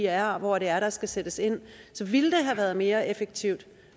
er og hvor det er der skal sættes ind så ville det have været mere effektivt